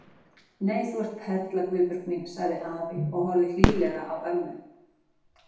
Nei, þú ert perla Guðbjörg mín sagði afi og horfði hlýlega á ömmu.